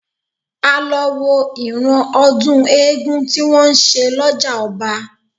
A lọ wo ìran ọdún eégún tí wọ́n ń ṣe lọ́jà ọba